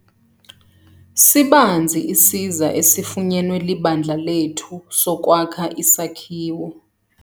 Sibanzi isiza esifunyenwe libandla lethu sokwakha isakhiwo.